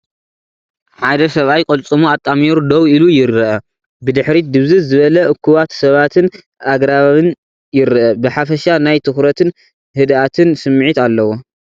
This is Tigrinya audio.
ሓደ ሰብኣይ ቅልጽሙ ኣጣሚሩ ደው ኢሉ ይርአ። ብድሕሪት ድብዝዝ ዝበለ እኩባት ሰባትን ኣግራብን ይርአ። ብሓፈሻ ናይ ትኹረትን ህድኣትን ስምዒት ኣለዎ።